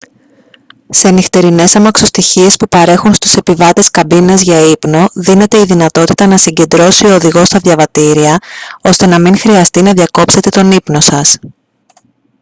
σε νυχτερινές αμαξοστοιχίες που παρέχουν στους επιβάτες καμπίνες για ύπνο δίνεται η δυνατότητα να συγκεντρώσει ο οδηγός τα διαβατήρια ώστε να μην χρειαστεί να διακόψετε τον ύπνο σας